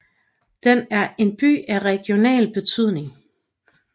Den er en by af regional betydning